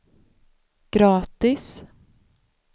gratis